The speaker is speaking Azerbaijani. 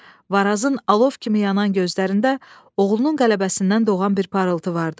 Varazın alov kimi yanan gözlərində oğlunun qələbəsindən doğan bir parıltı vardı.